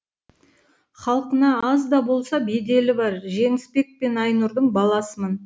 халқына аз да болса беделі бар жеңісбек пен айнұрдың баласымын